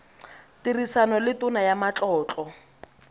tirisano le tona ya matlotlo